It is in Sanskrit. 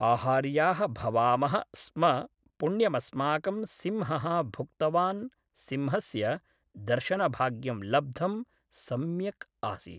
आहार्याः भवामः स्म पुण्यमस्माकं सिंहः भुक्तवान् सिंहस्य दर्शनभाग्यं लब्धं सम्यक् आसीत्